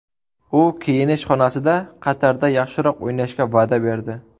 U kiyinish xonasida Qatarda yaxshiroq o‘ynashga va’da berdi”.